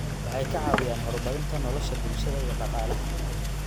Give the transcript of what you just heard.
Waxay ka caawiyaan horumarinta nolosha bulshada iyo dhaqaalaha.